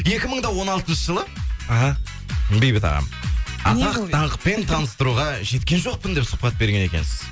екі мың да он алтыншы жылы іхі бейбіт ағам атақ даңқпен таныстыруға жеткен жоқпын деп сұхбат берген екенсіз